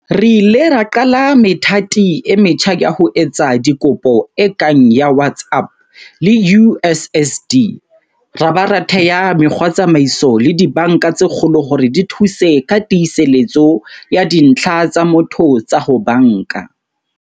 Re ile ra qala methati e metjha ya ho etsa dikopo e kang ya WhatsApp le USSD, ra ba ra thea mekgwatsamaiso le dibanka tse kgolo hore di thuse ka tiiseletso ya dintlha tsa motho tsa ho banka.